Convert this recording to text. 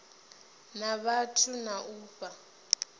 na vhathu na u fha